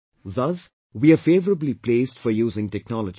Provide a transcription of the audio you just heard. Thus, we are favourably placed for using technology